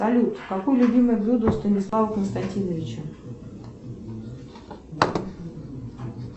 салют какое любимое блюдо у станислава константиновича